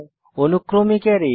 অনুক্রমিক array